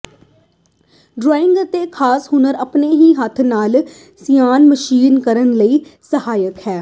drawing ਅਤੇ ਖਾਸ ਹੁਨਰ ਆਪਣੇ ਹੀ ਹੱਥ ਨਾਲ ਸਿਾਨ ਮਸ਼ੀਨ ਕਰਨ ਲਈ ਸਹਾਇਕ ਹੈ